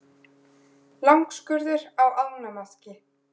Langskurður á ánamaðki.